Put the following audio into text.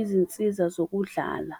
izinsiza zokudlala.